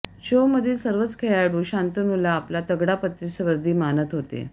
शोमधील सर्वच खेळाडू शांतनुला आपला तगडा प्रतिस्पर्धी मानत होते